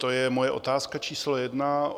To je moje otázka číslo jedna.